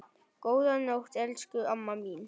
Góða nótt, elsku amma mín.